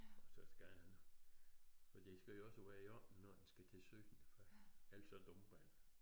Og så skal han for det skal jo også være i orden når den skal til syn ellers så dumper han